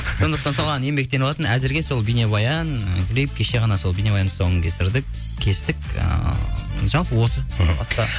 сондықтан соған еңбектеніватырмын әзірге сол бейнебаян і клип кеше ғана сол бейнебаянның тұсауын кестік ыыы жалпы осы